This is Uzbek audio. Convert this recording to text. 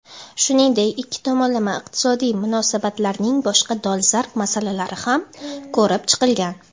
Shuningdek ikki tomonlama iqtisodiy munosabatlarning boshqa dolzarb masalalari ham ko‘rib chiqilgan.